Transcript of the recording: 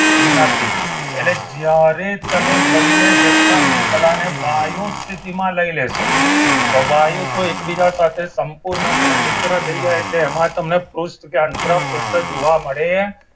નથી એટલે જ્યારે તમે બંને જથ્થામાં થી પેલા ને વાયુ સ્થિતિમાં લઈ લેશો તો વાયુ તો એકબીજા સાથે સંપૂર્ણપણે મિત્ર થઈ જાય એટલે એમાં તમને પૃષ્ઠ કે અંતરા પૃષ્ઠ જોવા મળે